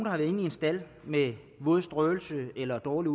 har været inde i en stald med våd strøelse eller dårlig